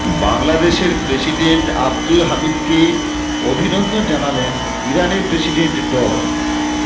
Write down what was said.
বাংলাদেশের প্রেসিডেন্ট আব্দুল হামিদকে অভিনন্দন জানালেন ইরানের প্রেসিডেন্ট ড